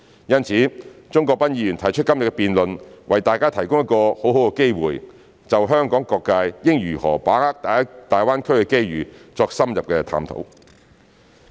因此，鍾國斌議員提出今天的辯論，為大家提供一個很好的機會，就香港各界應如何把握大灣區的機遇作深入的探討。